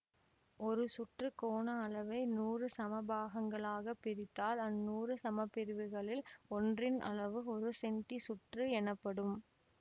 ஒரு சுற்று கோண அளவை நூறு சமபாகங்களாகப் பிரித்தால் அந்நூறு சமபிரிவுகளில் ஒன்றின் அளவு ஒரு செண்டிச்சுற்று எனப்படும்